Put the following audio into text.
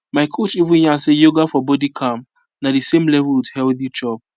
my coach even yarn say yoga for body calm na the same level with healthy chop